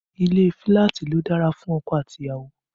Ilé filati ló dára fún ọkọ àti ìyàwó